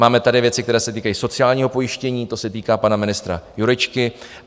Máme tady věci, které se týkají sociálního pojištění, to se týká pana ministra Jurečky.